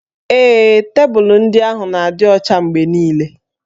Ee, tebụlụ ndị ahụ na-adị ọcha mgbe niile